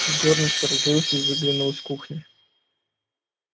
егор насторожился и выглянул из кухни